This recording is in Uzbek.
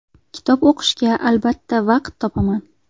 Kitob o‘qishga albatta vaqt topaman.